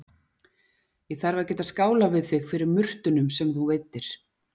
Ég þarf að geta skálað við þig fyrir murtunum sem þú veiddir